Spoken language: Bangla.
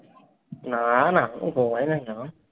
না, না। ঘুমাই নাই এখনো।